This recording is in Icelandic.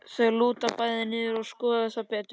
Þau lúta bæði niður til að skoða það betur.